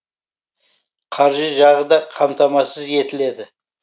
қаржы жағы да қамтамасыз етіледі